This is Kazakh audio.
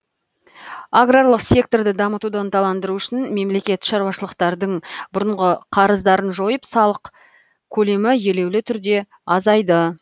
аграрлық секторды дамытуды ынталандыру үшін мемлекет шаруашылықтардың бұрынғы қарыздарын жойып салық көлемі елеулі түрде азайды